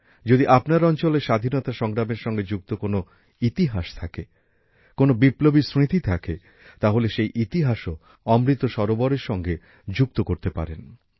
যদি আপনার অঞ্চলে স্বাধীনতা সংগ্রামের সঙ্গে যুক্ত কোনো ইতিহাস থাকে কোনো বিপ্লবীর স্মৃতি থাকে তাহলে সেই ইতিহাসও অমৃত সরোবরের সঙ্গে যুক্ত করতে পারেন